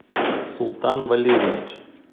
султан валерьевич